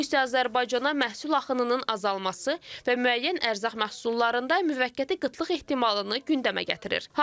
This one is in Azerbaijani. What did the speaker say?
Bu isə Azərbaycana məhsul axınının azalması və müəyyən ərzaq məhsullarında müvəqqəti qıtlıq ehtimalını gündəmə gətirir.